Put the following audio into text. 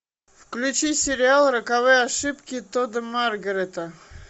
включи сериал роковые ошибки тодда маргарета